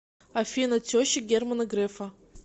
афина теща германа грефа